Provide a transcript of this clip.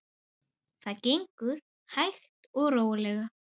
Það gengur hægt og rólega.